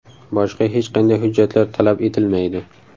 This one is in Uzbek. Boshqa hech qanday hujjatlar talab etilmaydi.